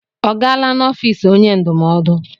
Ọ gaala n'ọfịs onye ndụmọdụ?